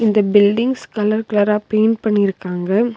இந்த buildings colour கலரா paint பண்ணியிருக்காங்க.